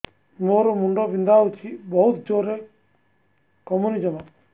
ମୋର ମୁଣ୍ଡ ବିନ୍ଧା ହଉଛି ବହୁତ ଜୋରରେ କମୁନି ଜମା